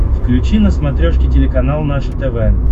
включи на смотрешке телеканал наше тв